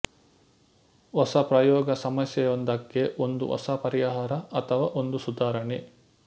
ಹೊಸ ಪ್ರಯೋಗ ಸಮಸ್ಯೆಯೊಂದಕ್ಕೆ ಒಂದು ಹೊಸ ಪರಿಹಾರಅಥವಾ ಒಂದು ಸುಧಾರಣೆ